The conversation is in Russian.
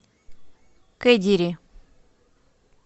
кедири